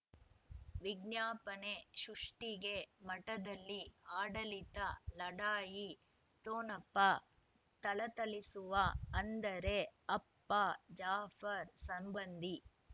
ವಿಜ್ಞಾಪನೆ ಸೃಷ್ಟಿಗೆ ಮಠದಲ್ಲಿ ಆಡಳಿತ ಲಢಾಯಿ ಠೊಣಪ ಥಳಥಳಿಸುವ ಅಂದರೆ ಅಪ್ಪ ಜಾಫರ್ ಸಂಬಂಧಿ